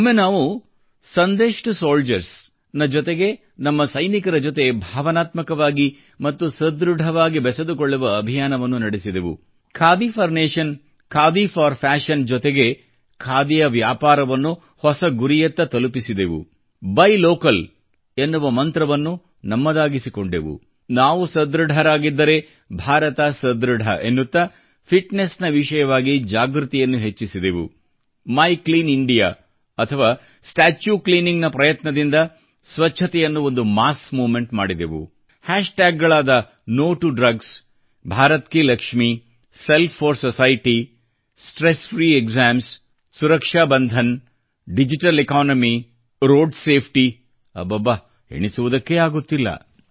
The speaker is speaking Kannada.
ಒಮ್ಮೆ ನಾವು ಸಂದೇಶ್ ಟು ಸೋಲ್ಜರ್ಸ್ ನ ಜೊತೆಗೆ ನಮ್ಮ ಸೈನಿಕರ ಜೊತೆ ಭಾವನಾತ್ಮಕವಾಗಿ ಮತ್ತು ಸಧೃಢವಾಗಿ ಬೆಸೆದುಕೊಳ್ಳುವ ಅಭಿಯಾನವನ್ನು ನಡೆಸಿದೆವು khadi for nation khadi for fashion ನ ಜೊತೆಗೆ ಖಾದಿಯ ವ್ಯಾಪಾರವನ್ನು ಹೊಸ ಗುರಿಯತ್ತ ತಲುಪಿಸಿದೆವು ಬಯ್ ಲೋಕಲ್ ಎನ್ನುವ ಮಂತ್ರವನ್ನು ನಮ್ಮದಾಗಿಸಿಕೊಂಡೆವು ನಾವು ಸಧೃಢರಾಗಿದ್ದರೆ ಭಾರತ ಸಧೃಢ ಎನ್ನುತ್ತಾ ಫಿಟ್ನೆಸ್ನ ವಿಷಯವಾಗಿ ಜಾಗೃತಿಯನ್ನು ಹೆಚ್ಚಿಸಿದೆವು ಮೈ ಕ್ಲೀನ್ ಇಂಡಿಯಾ ಅಥವಾ ಸ್ಟಾಚ್ಯೂ ಕ್ಲೀನಿಂಗ್ ನ ಪ್ರಯತ್ನದಿಂದ ಸ್ವಚ್ಚತೆಯನ್ನು ಒಂದು mಚಿss movemeಟಿಣ ಮಾಡಿದೆವು ಓoಖಿoಆಡಿugs ನೋಟೋಡ್ರಗ್ಸ್ ಭರತ್ಕಿಲಕ್ಷಮಿ Self4Society ಸ್ಟ್ರೆಸ್ಫ್ರೀಕ್ಸಾಮ್ಸ್ ಸುರಕ್ಷಾಬಂಧನ್ ಡಿಜಿಟಲೆಕಾನಮಿ ರೋಡ್ಸೇಫ್ಟಿ ಅಬ್ಬಬ್ಬಾ ಎಣಿಸುವುದಕ್ಕೆ ಆಗುತ್ತಿಲ್ಲ